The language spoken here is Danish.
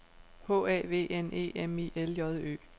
H A V N E M I L J Ø